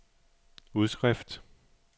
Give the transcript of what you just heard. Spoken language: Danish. udskrift